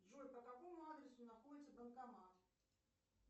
джой по какому адресу находится банкомат